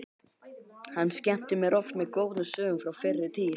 Hann skemmti mér oft með góðum sögum frá fyrri tíð.